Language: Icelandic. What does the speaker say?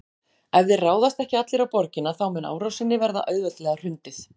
Ef þeir ráðast ekki allir á borgina þá mun árásinni verða auðveldlega hrundið.